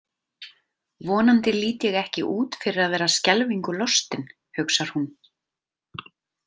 Vonandi lít ég ekki út fyrir að vera skelfingu lostin, hugsar hún.